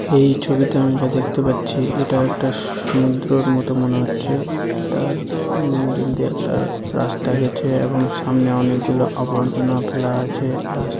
এই ছবিটা আমি যা দেখতে পাচ্ছি এটা একটা সমুদ্রর মতো মনে হচ্ছে তার উম মিডিল দিয়ে একটা রাস্তা গেছে এবং সামনে অনেকগুলো আবর্জনা ফেলা আছে রাস--